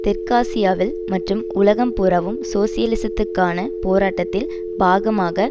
தெற்காசியாவில் மற்றும் உலகம் பூராவும் சோசியலிசத்துக்கான போராட்டத்தின் பாகமாக